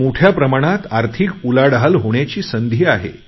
मोठ्या प्रमाणात आर्थिक उलाढाल होण्याची संधी आहे